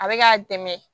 A bɛ k'a dɛmɛ